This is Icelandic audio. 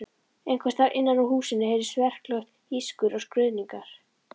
Einhvers staðar innan úr húsinu heyrðist verklegt ískur og skruðningar.